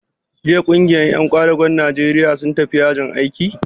Jiya ƙungiyar ƴan ƙwadagon Najeriya sun tafi yajin aiki?